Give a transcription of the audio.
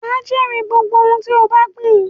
Wà á jèrè gbogbo ohun tí ó bá gbìn.